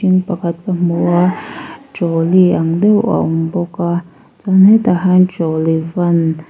in pakhat ka hmu a trolley ang deuh a awm bawk a chuan hetah hian trolley van --